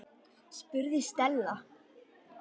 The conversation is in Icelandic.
spurði Stella.